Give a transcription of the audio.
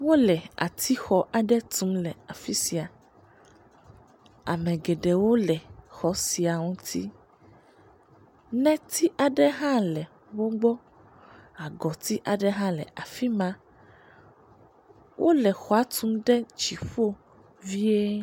Wole atixɔ aɖe tum le afi sia. Ame geɖewo le xɔ sia ŋuti. Nɛti aɖe hã le wogbɔ. Agɔti aɖe hã le afi ma. Wole xɔa tum ɖe dziƒo vie.